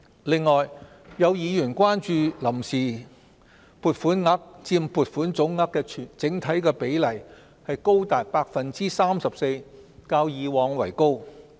此外，有議員關注臨時撥款額佔撥款總額的整體比例高達 34%， 較以往為高。